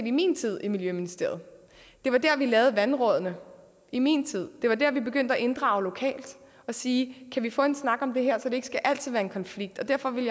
i min tid i miljøministeriet det var der vi lavede vandrådene i min tid det var der vi begyndte at inddrage lokalt og sige kan vi få en snak om det her så det ikke altid skal være en konflikt derfor vil